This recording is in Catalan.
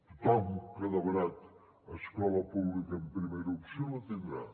tothom que ha demanat escola pública en primera opció la tindrà